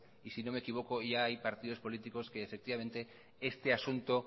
y si no me equivoco ya hay partido políticos que este asunto